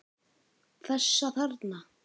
Þessa þarna!